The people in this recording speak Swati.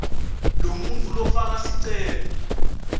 lomuntfu lofaka sicelo